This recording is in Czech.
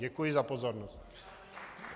Děkuji za pozornost.